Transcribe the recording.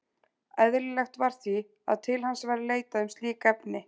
Eðlilegt var því, að til hans væri leitað um slík efni.